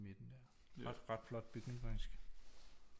I midten der ret flot bygning faktisk